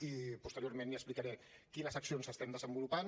i posteriorment li explicaré quines accions estem desenvolupant